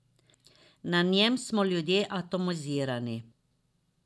Na njem smo ljudje atomizirani.